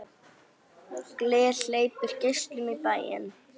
Gler hleypir geislum í bæinn.